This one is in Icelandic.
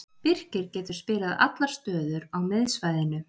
Birkir getur spilað allar stöður á miðsvæðinu.